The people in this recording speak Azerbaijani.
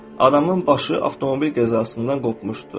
Adamın başı avtomobil qəzasından qopmuşdu.